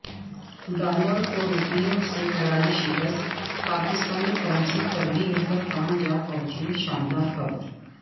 dollar کو روپے سے کراری شکست پاکستانی کرنسی تگڑی ہوکر کہاں جا پہنچی شاندار خبر